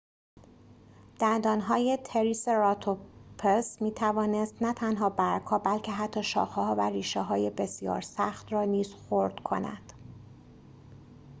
دندانهای تریسراتوپس می‌توانست نه تنها برگ‌ها بلکه حتی شاخه‌ها و ربشه‌های بسیار سخت را نیز خرد کند